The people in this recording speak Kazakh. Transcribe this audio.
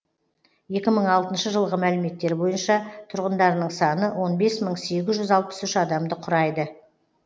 екі мың алтыншы жылғы мәліметтер бойынша тұрғындарының саны он бес мың сегіз жүз алпыс үш адамды құрайды